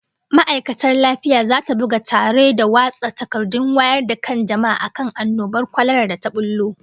Ma'aikatar lafiya zata buga tare da watsa takardun wayar da kan jama'a akan annobar kwalara da ta bullo